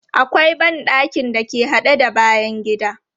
Akwai ban ɗakin da ke haɗe da bayan gida.